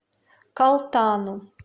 калтану